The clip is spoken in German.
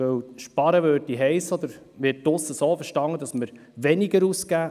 Sparen würde heissen, dass wir weniger ausgeben.